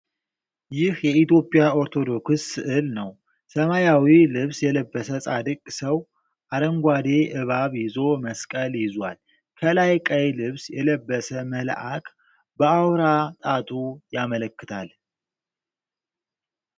ይህ የኢትዮጵያ ኦርቶዶክስ ስዕል ነው። ሰማያዊ ልብስ የለበሰ ጻድቅ ሰው አረንጓዴ እባብ ይዞ መስቀል ይዟል። ከላይ ቀይ ልብስ የለበሰ መልአክ በአውራ ጣቱ ያመለክታል።